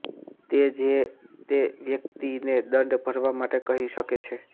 તે જે તે વ્યક્તિને દંડ ભરવા માટે કહી શકે છે